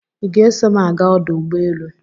Ị ga-eso m aga ọdụ ụgbọ elu?